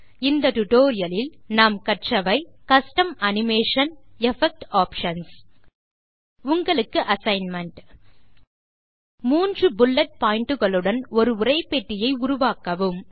இந்த டியூட்டோரியல் லில் நாம் கற்றது கஸ்டம் அனிமேஷன் எஃபெக்ட் ஆப்ஷன்ஸ் உங்களுக்கு அசைன்மென்ட் மூன்று புல்லெட் pointகளுடன் ஒரு உரைப்பெட்டியை உருவாக்கவும்